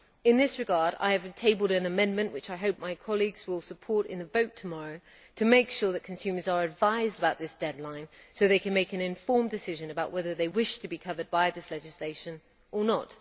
In this regard I have tabled an amendment which I hope my colleagues will support in the vote tomorrow to make sure that consumers are advised about this deadline, so that they can make an informed decision about whether they wish to be covered by this legislation or not.